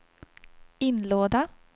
inlåda